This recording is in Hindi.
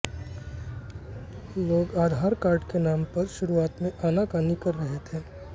लोग आधार कार्ड के नाम पर शुरुआत में आनाकानी कर रहे थे